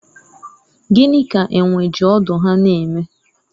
gịnị ka enwe ji ọdụ ha na-eme?